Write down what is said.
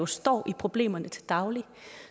står med problemerne til daglig